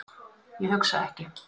Ég hugsa ekki.